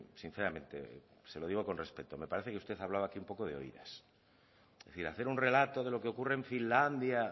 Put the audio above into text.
sinceramente se lo digo con respecto me parece que usted hablaba aquí un poco de oídas es decir hacer un relato de lo que ocurre en finlandia